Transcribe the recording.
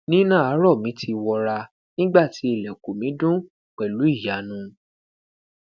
nina aarọ mi ti wọra nigba ti ilẹkun mi dun pẹlu iyanu